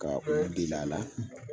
Ka u delil'a la